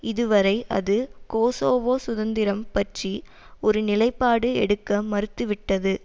இதுவரை அது கொசோவோ சுதந்திரம் பற்றி ஒரு நிலைப்பாடு எடுக்க மறுத்து விட்டது